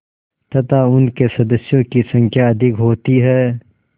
तथा उनके सदस्यों की संख्या अधिक होती है